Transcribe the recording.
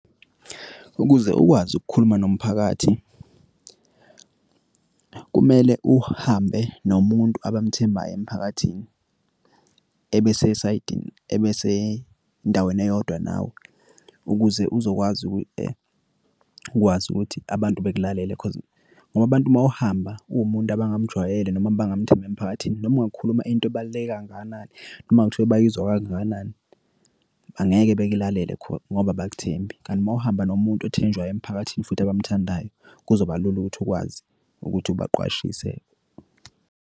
Ukuze ukwazi ukukhuluma nomphakathi, kumele uhambe nomuntu abamthembayo emphakathini, ebesesayidini, ebesendaweni eyodwa nawe. Ukuze uzokwazi ukwazi ukuthi abantu bakulalele cause ngoba abantu uma uhamba uwumuntu abangamjwayele noma abangamthembi emphakathini, noma ungakhuluma into ebaluleke kangakanani, noma kuthiwa bayizwa kangakanani. Angeke bekulalele ngoba abakuthembi, kanti uma uhamba nomuntu ethenjwayo emphakathini futhi abamthandayo, kuzobalula ukuthi ukwazi ukuthi ubaqwashise.